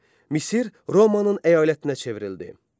Misir Romanın əyalətinə çevrildi.